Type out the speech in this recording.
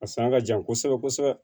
A sanga ka jan kosɛbɛ kosɛbɛ